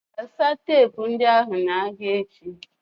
Ị ga-azụta teepu ndị ahụ n'ahịa echi?